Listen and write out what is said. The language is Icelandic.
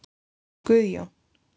Guðjón